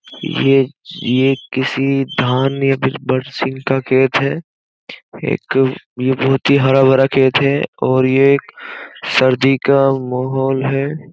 यह यह किसी धान या फिर बरसिंग का खेत है एक यह बोहोत ही हरा-भरा खेत है और यह एक सर्दी का माहौल है।